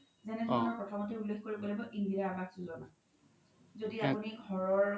যেনেকে মই প্ৰথমতে উল্ল্খ কৰিব লাগিব য্দি আপোনি ঘৰৰ